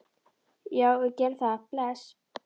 Já, við gerum það. Bless.